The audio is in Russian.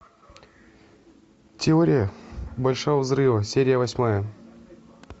теория большого взрыва серия восьмая